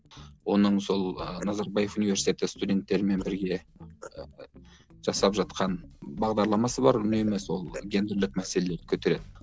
оның сол ы назарбаев университеті студенттерімен бірге ііі жасап жатқан бағдарламасы бар үнемі сол гендірлік мәселелерді көтереді